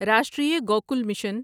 Rashtriya Gokul mission